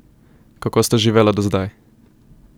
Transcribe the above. Kako sta živela do zdaj?